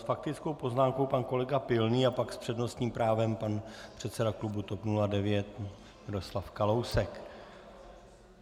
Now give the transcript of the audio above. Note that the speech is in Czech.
S faktickou poznámkou pan kolega Pilný a pak s přednostním právem pan předseda klubu TOP 09 Miroslav Kalousek.